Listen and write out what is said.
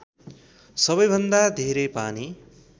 सबैभन्दा धेरै पानी